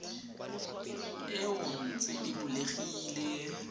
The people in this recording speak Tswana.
eo e ntse e bulegile